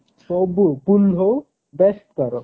ସବୁ pool ହଉ best ତାର